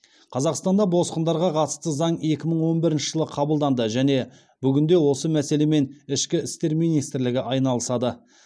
қазақстанда босқындарға қатысты заң екі мың он бірінші жылы қабылданды және бүгінде осы мәселемен ішкі істер министрлігі айналысады